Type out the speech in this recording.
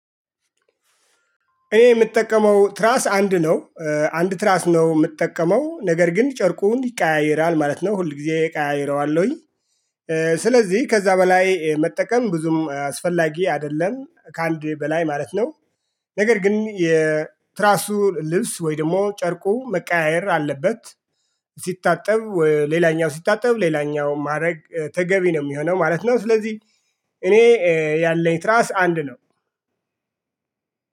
እኔ የምጠቀመው ትራስ አንድ ነው። አንድ ትራስ ነው የምጠቀመው ነገር ግን ጨርቁን ይቃያይራል ማለት ነው ሁል ጊዜ እቃይረዋለሁኝ። ስለዚህ ከዛ በላይ መጠቀም ብዙም አስፈላጊ አይደለም ከአንድ በላይ ማለት ነው። ነገር ግን የትራሱ ልብስ ወይም ደግሞ ጨርቁ መቀያየር አለበት። ሲታጠብ ሌላኛው ሲታጠብ ሌላኛው ማድረግ ተገቢ ነው የሚሆነው ማለት ነው ስለዚህ። እኔ ያለኝ ትራስ አንድ ነው